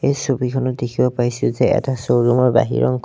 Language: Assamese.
ছবিখনত দেখিব পাইছোঁ যে এটা শ্ব'ৰুম ৰ বাহিৰৰ অংশ।